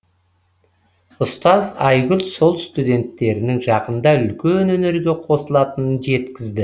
ұстаз айгүл сол студенттерінің жақында үлкен өнерге қосылатынын жеткізді